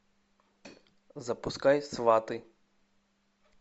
запускай сваты